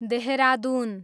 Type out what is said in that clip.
Dehradun